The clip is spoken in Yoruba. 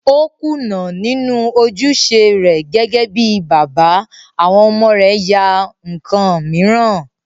O kùnà nínú ojúṣe rẹ̀ gẹ́gẹ́ bíi bàbá, àwọn ọmọ rẹ̀ ya ǹkan mìíràn